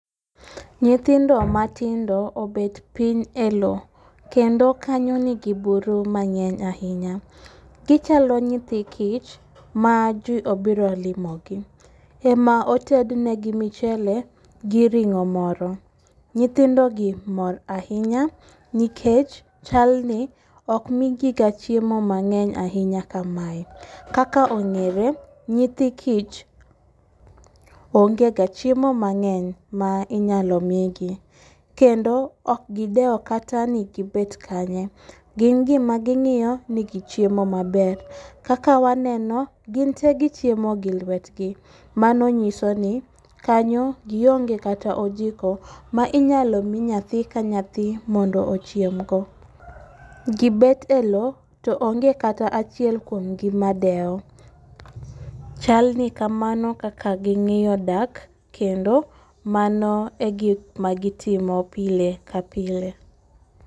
Nyithindo matindo obet piny e low kendo kanyo nigi buru mang'eny ahinya, gichalo nyithi kich ma ji obiro limogi, ema otednegi michele gi ring'o moro. Nyithindogi mor ahinya nikech chalni ok migiga chiemo mang'eny ahinya kamae, kaka ong'ere nyithi kiye ongega chiemo mang'eny ma inyalo migi kendo ok gidewo kata ni gibet kanya, gin gimaging'iyo ni gichiemo maber. Kaka waneno gin te gichiemo gi lwetgi mano nyisoni kanyo giong'e kata ojiko minyalo mi nyathi ka nyathi mondo ochiemgo, gibet e lowo to ong'e kata achiel kuomgi madewo, chalni kamo kaka ging'iyo dak kendo mano e gik magitimo pile ka pile.